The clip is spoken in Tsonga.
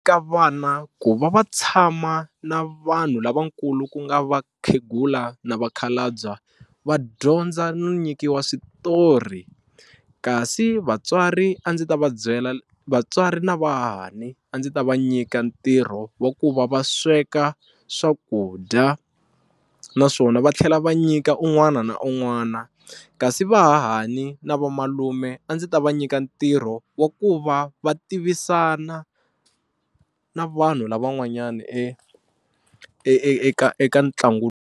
Ka vana ku va va tshama na vanhu lavakulu ku nga vakhegula na vakhalabya va dyondza no nyikiwa switori kasi vatswari a ndzi ta va byela vatswari na vahahani a ndzi ta va nyika ntirho wa ku va va sweka swakudya naswona va tlhela va nyika un'wana na un'wana kasi vahahani na vamalume a ndzi ta va nyika ntirho wa ku va va tivisana na vanhu lava van'wanyani e e eka eka ntlangu.